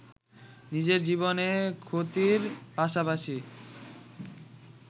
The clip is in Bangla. নিজের জীবনে ক্ষতির পাশাপাশি